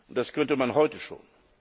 Das könnte man heute schon.